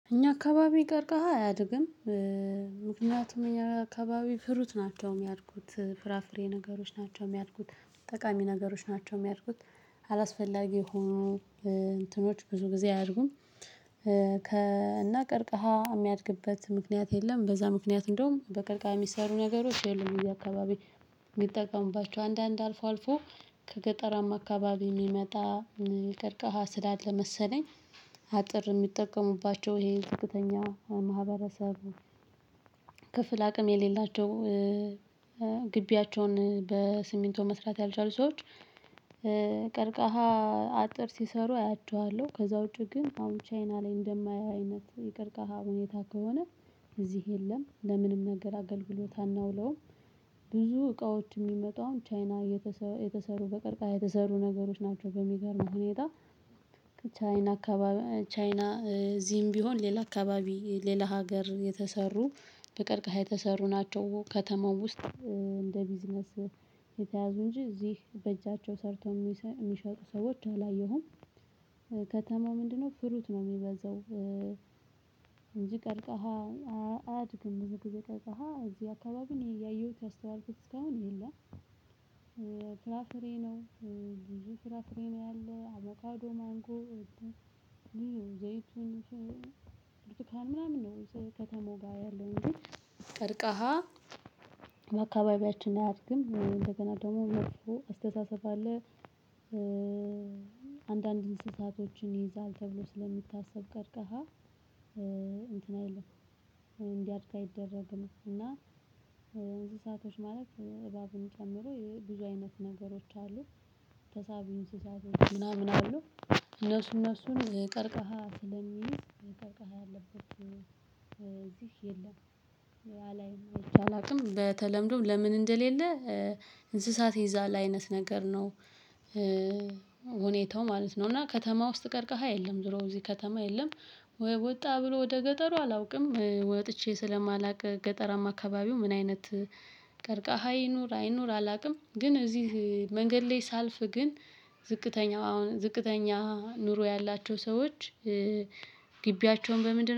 እኛ አካባቢ ቀርቀሃ አያድግም። ምክንያቱም እኛ አካባቢ ፍሩት ናቸው የሚያድጉት፣ ፍራፍሬ ነገሮች ናቸው የሚያድጉት፣ ጠቃሚ ነገሮች ናቸው የሚያድጉት፣ አላስፈላጊ ሆኖ እንትኖች ብዙ ጊዜ አያድርጉም። ከእነ ቀርቃሃ የሚያድግበት ምክንያት የለም። በዛ ምክንያት እንደውም በቀርቃሃ ሚሰሩ ነገሮች የሉም። በየ አካባቢ የሚጠቀሙባቸው አንዳንድ አልፎ አልፎ ከገጠራማ አካባቢ የሚመጣ ቅርቀሃ ስላለ መሰለኝ አጥር የሚጠቀሙባቸው ይሄ ዝቅተኛ ማህበረሰቡ ክፍል አቅም የሌላቸው ግቢያቸውን ለስሚንቶ መስራት ያልቻሉ ሰዎች ቀርቃሃ አጥር ሲሰሩ አያቸዋለሁ። ከዛ ውጪ ግን አሁን ቻይና ላይ እንደማይያይ አይነት ቅርቃሃ ሁኔታ ከሆነ እዚህ የለም ለምንም ነገር አገልግሎት አናውለውም። ብዙ እቃዎች የሚመጣው ቻይና የተሰሩ በቅርቃሃ የተሰሩ ነገሮች በሚገርም ሁኔታ ቻይና አካባቢ ቻይና እዚም ቢሆን ሌላ አካባቢ ሌላ ሀገር የተሰሩ በቅርቅሀ የተሰሩ ናቸው። ከተማው ውስጥ እንደ ቢዝነስ የተያዙ እንጂ እዚህ በእጃቸው ሰርተው የሚ የሚሸጡ ሰዎች አላየሁም። ከተማው ምንድነው ፍሩት ነው የሚበዛው እንጂ ቀርቀሃ አያድግም እንጂ ቀርቀሃ እዚህ አካባቢ እኔ እያየሁት ያስተዋልኩት። እስካሁን የለም ፍራፍሬ ነው ብዙ ፍራፍሬ ፍሬ ነው ያለው አቮካዶ ማንጎ ዘይቱን፣ ብርካን ምናምን ነው የሰው ከተማው ያለው እንጂ ቀርቃሃ ለአካባቢያችን አያድግም እንደገና ደግሞ መጥፎ አስተሳሰብ አለ እ አንዳንድ እንስሳቶችን ይይዛል ተብሎ ስለሚታሰብ ቀርቀሃ እንትን አይደለም። እንዲያድግ አይደረግም እና እንስሳቶች ማለት እባብን ጨምሮ ብዙ አይነት ነገሮች አሉ። ተሳቢ እንስሳቶች ምናምን አሉ። እነሱ እነሱን ቀርቀሃ ስለሚይዝ ቀርቀሃ ያለበት የለም አላይም፤ አላውቅም በተለምዶም ለምን እንደሌለ እንስሳት ይዛል አይነት ነገር ነው ሁኔታው ማለት ነው እና ከተማ ውስጥ ቀርቀሃ የለም ዝሮ እዚህ ከተማ የለም ወጣ ብሎ ወደ ገጠሩ አላውቅም። ወጥቼ ስለማላውቅ ገጠራማ አካባቢው ምን አይነት ቀርቃሃ ይኑር አይኑር አላውቅም ግን እዚህ መንገድ ላይ ሳልፍ ግን ዝቅተኛ አሁን ዝቅተኛ ኑሮ ያላቸው ሰዎች ግቢያቸውን በምንድነው